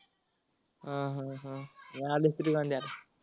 हा हा हा आर.